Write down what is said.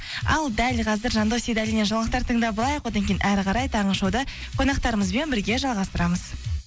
ал дәл қазір жандос сейдалиннен жаңалықтар тыңдап алайық одан кейін әрі қарай таңғы шоуды қонақтарымызбен бірге жалғастырамыз